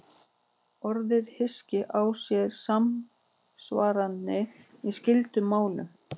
Orðið hyski á sér samsvaranir í skyldum málum.